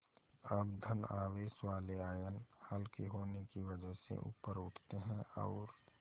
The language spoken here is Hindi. अब धन आवेश वाले आयन हल्के होने की वजह से ऊपर उठते हैं और